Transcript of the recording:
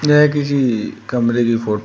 यह किसी कमरे की फोटो --